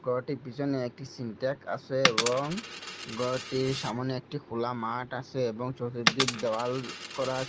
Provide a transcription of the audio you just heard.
ঘরটির পিছনে একটি সিন্ট্যাক আসে এবং ঘরটির সামোনে একটি খোলা মাঠ আসে এবং চতুর্দিক দেওয়াল করা আসে।